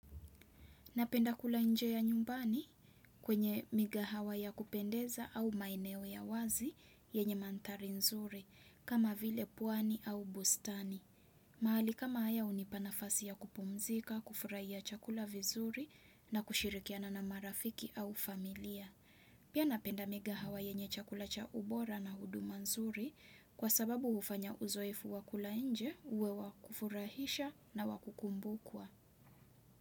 Napenda kula nje ya nyumbani kwenye migahawa ya kupendeza au maeneo ya wazi yenye manthari nzuri, kama vile pwani au bustani. Mahali kama haya hunipanafasi ya kupumzika, kufurahia chakula vizuri na kushirikiana na marafiki au familia. Pia napenda migahawa yenye chakula cha ubora na huduma nzuri kwa sababu hufanya uzoefu wakula nje, uwe wakufurahisha na wakukumbukwa.